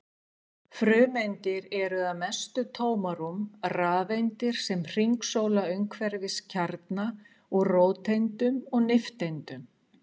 Frumeindir eru að mestu tómarúm, rafeindir sem hringsóla umhverfis kjarna úr róteindum og nifteindum.